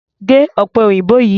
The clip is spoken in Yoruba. Gé ọ̀pẹ òyìnbó yìí!